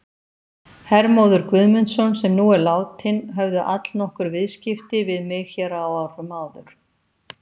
Hermóður Guðmundsson sem nú er látinn, höfðu allnokkur viðskipti við mig hér á árum áður.